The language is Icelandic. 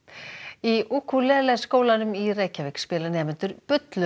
í Ukulele skólanum í Reykjavík spila nemendur